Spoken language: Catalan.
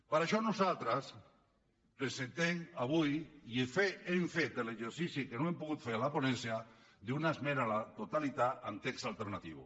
per això nosaltres presentem avui i hem fet l’exercici que no hem pogut fer a la ponència d’una esmena a la totalitat amb text alternatiu